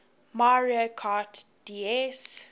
mario kart ds